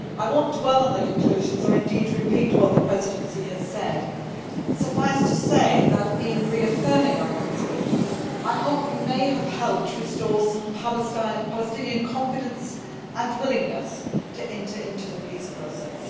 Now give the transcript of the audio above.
I will not dwell on the conclusions or repeat what the Presidency has said. Suffice to say that in reaffirming our principles, I hope we may have helped restore some Palestinian confidence and willingness to enter into the peace process.